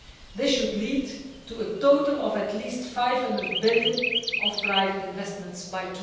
This should lead to a total of at least EUR 500 billion of private investments by